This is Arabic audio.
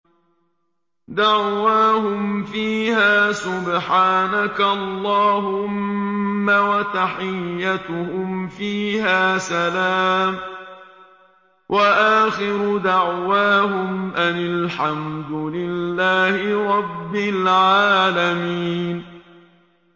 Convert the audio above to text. دَعْوَاهُمْ فِيهَا سُبْحَانَكَ اللَّهُمَّ وَتَحِيَّتُهُمْ فِيهَا سَلَامٌ ۚ وَآخِرُ دَعْوَاهُمْ أَنِ الْحَمْدُ لِلَّهِ رَبِّ الْعَالَمِينَ